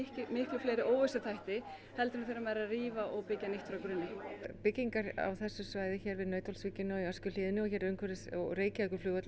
miklu fleiri óvissuþætti heldur en þegar maður er að rífa og byggja nýtt frá grunni byggingar á þessu svæði hér við Nauthólsvíkina í Öskjuhlíðinni og umhverfis Reykjavíkurflugvöll